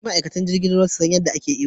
Dole ne ma'aikatan ruwa su san yadda ake iyo.